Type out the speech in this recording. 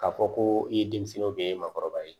K'a fɔ ko i ye denmisɛnninw de ye maakɔrɔba ye